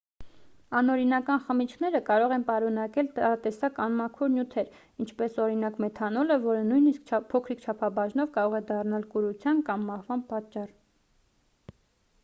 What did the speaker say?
անօրինական խմիչքները կարող են պարունակել տարատեսակ անմաքուր նյութեր ինչպես օրինակ մեթանոլը որը նույնիսկ փոքրիկ չափաբաժնով կարող է դառնալ կուրության կամ մահվան պատճառ